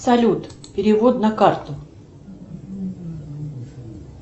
салют перевод на карту